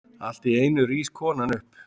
Alltíeinu rís konan upp.